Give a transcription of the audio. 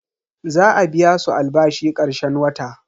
Za a biya su albashi karshen wata.